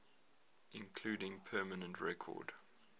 including permanent record